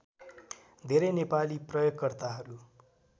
धेरै नेपाली प्रयोगकर्ताहरू